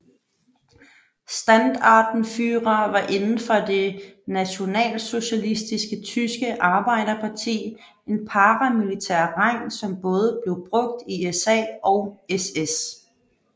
Standartenführer var inden for det Nationalsocialistiske Tyske Arbejderparti en paramilitær rang som både blev brugt i SA og SS